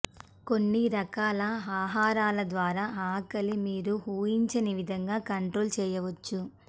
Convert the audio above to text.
కొన్ని రకాల ఆహారాల ద్వారా ఆకలి మీరు ఊహించని విధంగా కంట్రోల్ చేయవచ్చు